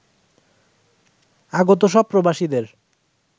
আগত সব প্রবাসীদের